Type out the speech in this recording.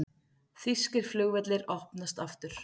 Þýskir flugvellir opnast aftur